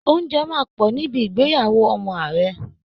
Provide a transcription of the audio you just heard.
Ounjẹ máa pọ̀ níbi ìgbéyàwó ọmọ ààrẹ